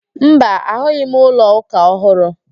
Mba, ahụghị m ụlọ ụka ọhụrụ